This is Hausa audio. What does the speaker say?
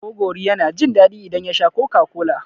Gogori yana jin daɗi idan ya sha Coca-Cola.